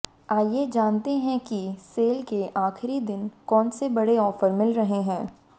आइए जानते हैं कि सेल के आखिरी दिन कौन से बड़े ऑफर मिल रहे हैं